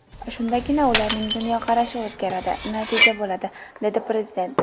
Shundagina ularning dunyoqarashi o‘zgaradi, natija bo‘ladi”, – dedi Prezident.